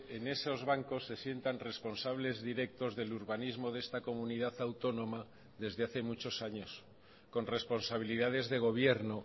en esos bancos se sientan responsables directos del urbanismo de esta comunidad autónoma desde hace muchos años con responsabilidades de gobierno